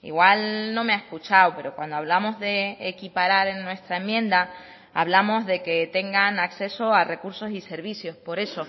igual no me ha escuchado pero cuando hablamos de equiparar en nuestra enmienda hablamos de que tengan acceso a recursos y servicios por eso